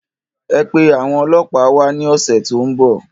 Ẹ pe àwọn ọlọpa wá ní ọ̀sẹ̀ tó ń bọ̀